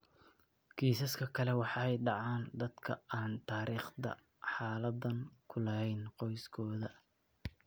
Kiisaska kale waxay ku dhacaan dadka aan taariikhda xaaladdan ku lahayn qoyskooda.